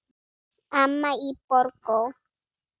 Amma í Borgó.